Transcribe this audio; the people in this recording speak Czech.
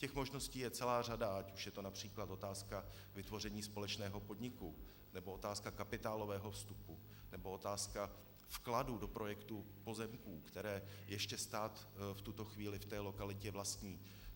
Těch možností je celá řada, ať už je to například otázka vytvoření společného podniku, nebo otázka kapitálového vstupu, nebo otázka vkladu do projektu pozemků, které ještě stát v tuto chvíli v té lokalitě vlastní.